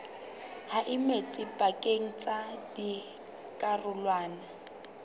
ha metsi pakeng tsa dikarolwana